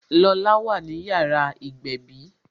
Lola wà ní yàrá ìgbẹ̀bí